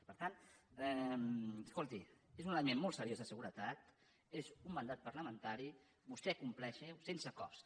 per tant escolti és un element molt seriós de seguretat és un mandat parlamentari vostè compleixi ho sense cost